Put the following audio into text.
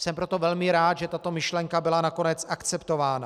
Jsem proto velmi rád, že tato myšlenka byla nakonec akceptována.